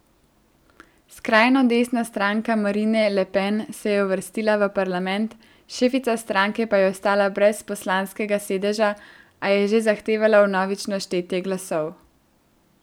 Skrajno desna stranka Marine Le Pen se je uvrstila v parlament, šefica stranke pa je ostala brez poslanskega sedeža, a je že zahtevala vnovično štetje glasov.